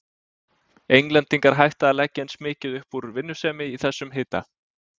Englendingar hætta að leggja eins mikið upp úr vinnusemi í þessum hita.